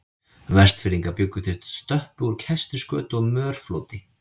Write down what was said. Vestfirðingar bjuggu til stöppu úr kæstri skötu og mörfloti.